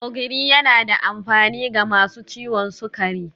Ogiri yana da amfani ga masu ciwon sukari